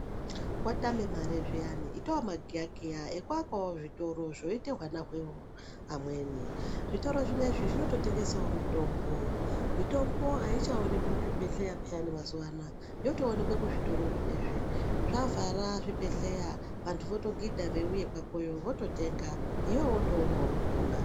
Watame mare zviyani itawo magiya Kiya ekuakawo zvitoro zvoite hwana hweamweni. Zvitoro zvinezvi zvinototengesawo mitombo. Mitombo aichaonekwi muzvibhehleya peyani mazuwa anaya. Yotoonekwe kuzvitoro zvinezvi. Zvavhara zvibhehleya vantu votogidha veiuya kwakoyo vototenga iwewe wotoonawo kupona.